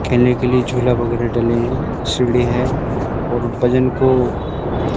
खेलने के लिए झोला वगैरह डले हैं सीढ़ी है और वजन को--